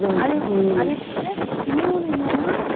அதே அதே போல இன்னொன்னு என்னன்னா